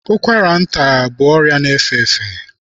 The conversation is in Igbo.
Ụkwara nta bụ ọrịa na-efe efe.